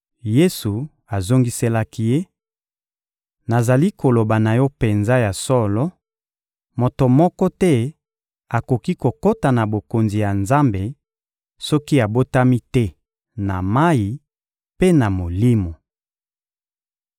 Yesu azongiselaki ye: — Nazali koloba na yo penza ya solo: moto moko te akoki kokota na Bokonzi ya Nzambe soki abotami te na mayi mpe na Molimo.